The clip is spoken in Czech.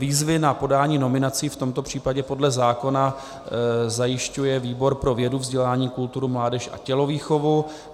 Výzvy na podání nominací v tomto případě podle zákona zajišťuje výbor pro vědu, vzdělání, kulturu, mládež a tělovýchovu.